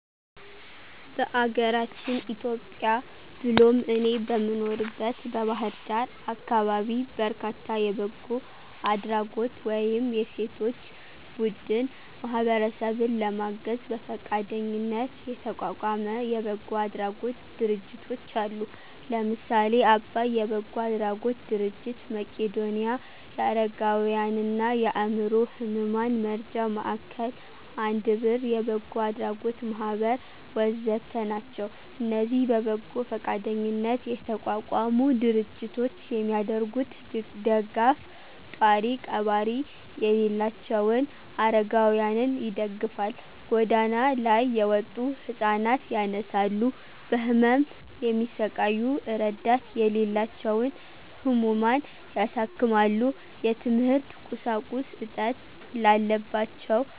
በአገራችን ኢትዮጵያ ብሎም እኔ በምኖርበት በባህር ዳር አካባቢ በርካታ የበጎ አድራጎት ወይም የሴቶች ቡድን ማህበረሰብን ለማገዝ በፈቃደኝነት የተቋቋመ የበጎ አድራጎት ድርጅቶች አሉ። ለምሳሌ :- አባይ የበጎ አድራጎት ድርጅት፣ መቄዶንያ የአረጋውያንና የአዕምሮ ህሙማን መርጃ ማዕከል፣ አንድ ብር የበጎ አድራጎት ማህበር ወ.ዘ.ተ... ናቸው። እነዚህ በበጎ ፈቃደኝነት የተቋቋሙ ድርጅቶች የሚያደርጉት ደጋፍ፣ ጧሪ ቀባሪ የሌላቸውን አረጋውያንን ይደግፋል፣ ጎዳና ላይ የወጡ ህፃናት ያነሳሉ፣ በህመም የሚሰቃዩ እረዳት የሌላቸውን ህሙማን ያሳክማሉ፣ የትምህርት ቁሳቁስ እጥት ላለባቸው